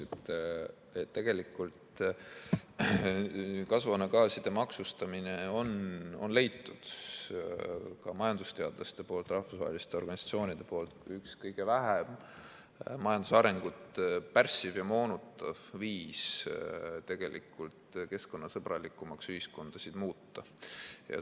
Majandusteadlaste ja rahvusvaheliste organisatsioonide poolt on leitud, et kasvuhoonegaaside maksustamine on üks kõige vähem majandusarengut pärssiv ja moonutav viis ühiskondasid keskkonnasõbralikumaks muuta.